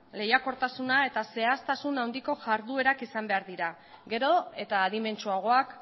lehiakortasuna eta zehaztasun handiko jarduerak izan behar dira gero eta adimentsuagoak